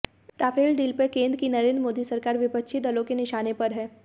Rafale deal पर केंद्र की नरेंद्र मोदी सरकार विपक्षी दलों के निशाने पर है